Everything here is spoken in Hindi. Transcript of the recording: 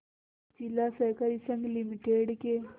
जिला सहकारी संघ लिमिटेड के